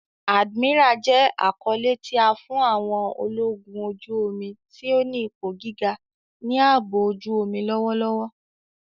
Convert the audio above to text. Admiral jẹ akọle ti a fi fun àwọn ologun oju-omi ti o ni ipo giga ni aabo ojuomi lọwọlọwọ.